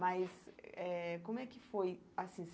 Mas eh como é que foi assim?